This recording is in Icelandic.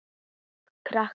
Eða til krakka?